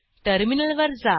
टर्मिनलवर जा